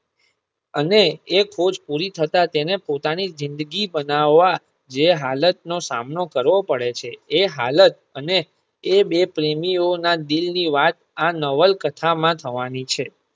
અને એ ખોજ પુરી થતા તેને પોતાની જિંદગી બનાવવા જે હાલત નો સામનો કરવો પડે છે એ હાલત અને એ બે પ્રેમીઓ ના દિલ ની વાત આ નવલ કથા માં થવાની છે.